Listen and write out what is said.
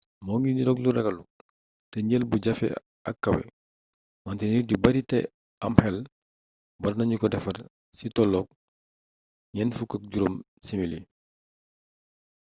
moo ngi niroog lu ragallu te njël bu jafe ak kawé wante nit yu bari té am xel warna ñu ko defar cili toloog 45 simili